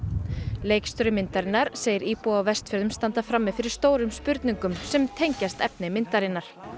leikstjóri myndarinnar segir íbúa á Vestfjörðum standa frammi fyrir stórum spurningum sem tengist efni myndarinnar